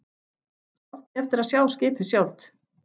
Svo átti ég eftir að sjá skipið sjálft.